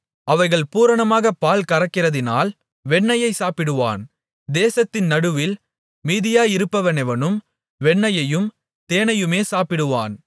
அவைகள் பூரணமாகப் பால்கறக்கிறதினால் வெண்ணெயைச் சாப்பிடுவான் தேசத்தின் நடுவில் மீதியாயிருப்பவனெவனும் வெண்ணெயையும் தேனையுமே சாப்பிடுவான்